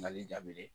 Mali daminɛ